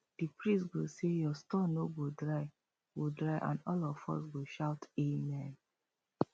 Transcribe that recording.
the priest go say your store no go dry go dry and all of us go shout amen